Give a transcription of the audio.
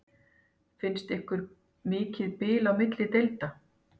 Finnst ykkur mikið bil á milli deilda?